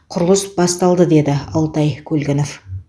құрылыс басталды деді алтай көлгінов